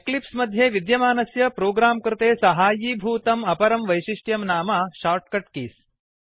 Eclipse मध्ये विद्यमानस्य program कृते साहाय्यीभूतम् अपरं वैशिष्ट्यं नाम shortcut कीज